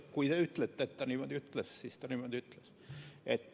Kui te ütlete, et ta niimoodi ütles, siis ju ta niimoodi ütles.